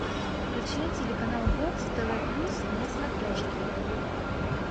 включай телеканал бокс тв плюс на смотрешке